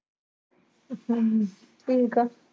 ਹਮ ਠੀਕ ਆ।